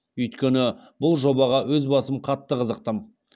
үйткені бұл жобаға өз басым қатты қызықтым